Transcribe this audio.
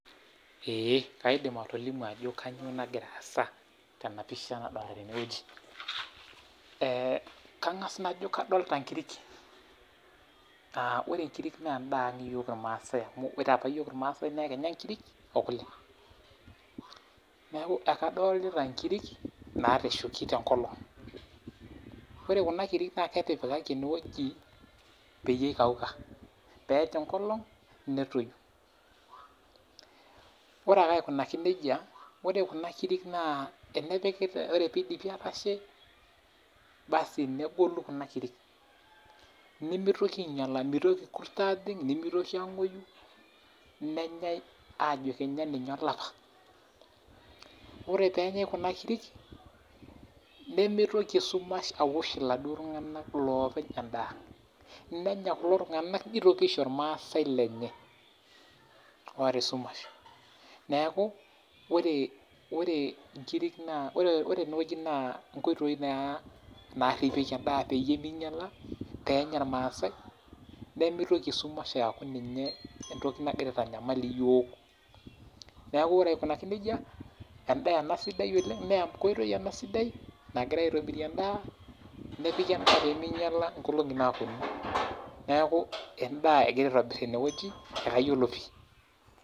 Ee kaidim atolimu ajo kainyoo nagira aasa tenapisha nadolita teneweji ,kangas najo kadolita inkirik ,ore inkirik naa endaa ang iyiok irmaasai amu ore apa yiok irmaasai naa ekinya inkirik okule neeku ekadolita inkirik natashoki tenkolong, ore Kuna kirik naa ketipikaki eneweji peyiee eikauka pee eer enkolong netii, ore ake aikunaki nejia naa ore kunakirik teneidipi aatashe negolu Kuna kirik, meotoki ainyala ,meitoki irkurt ajing, nemitoki angwoyu nenyae ajo kenya ilapa, ore pee enyae Kuna kirik, nemitoki esumash aosh ila duo tunganak loopeny endaa, nenya kulo tunganak neitoki aisho irmaasai lenye oota esumash neeku ore eneweji nkoitoi naa naripieki enda peyie meinyala peenya irmaasai, nemeitoki esumashamu ninye entoki nagira aitanyamal iyiok ,neeku ore aikunaki nejia endaa sidai ena oleng naa enkoitoi sidai ena oleng naagirae aitobirie endaa nepiki endaa pee meinyala endaa toonkolongi naaponu neeku endaa engirae aitobiraki teneweji kayiolo pi.